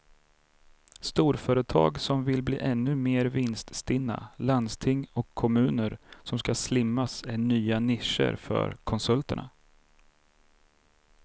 Storföretag som vill bli ännu mer vinststinna, landsting och kommuner som ska slimmas är nya nischer för konsulterna.